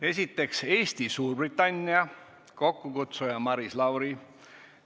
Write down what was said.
Esiteks, Eesti-Suurbritannia, kokkukutsuja on Maris Lauri.